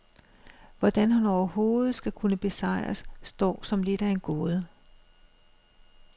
Hvordan han overhovedet skal kunne besejres, står som lidt af en gåde.